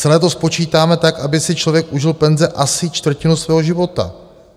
Celé to spočítáme tak, aby si člověk užil penze asi čtvrtinu svého života."